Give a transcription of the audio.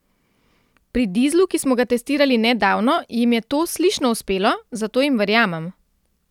Pri dizlu, ki smo ga testirali nedavno, jim je to slišno uspelo, zato jim verjamem.